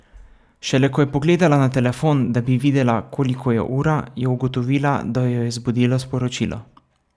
Šele ko je pogledala na telefon, da bi videla, koliko je ura, je ugotovila, da jo je zbudilo sporočilo.